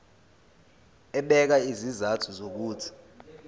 ebeka izizathu zokuthi